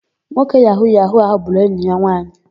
Nwoke yahu-yahu áhụ̀ gburu enyi ya nwaanyị.